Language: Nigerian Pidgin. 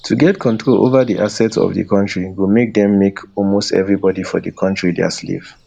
to get control ova di assets of di kontri go make dem make almost evribody for di kontri dia slave